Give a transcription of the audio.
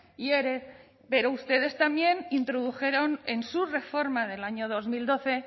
y ere pero ustedes también introdujeron en su reforma del año dos mil doce